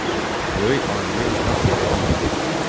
Böyük alimi nahaq yerə incidir.